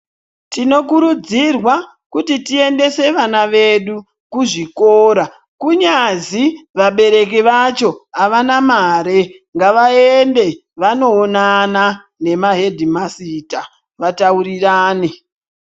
Tinokurudzirwa kuti tiendese vana vedu kuzvikora kunyazi vabereki vacho avana mare ngavaende vanoonana nemahedhimasita vataurirane.